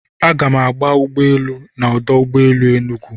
Aga m agba ụgbọ elu na ọdụ ụgbọ elu Enugwu.